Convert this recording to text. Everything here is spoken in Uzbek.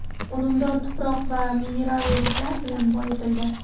Unumdor tuproq va mineral o‘g‘itlar bilan boyitildi.